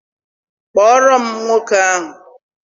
Kpọọrọ m nwoke ahụ!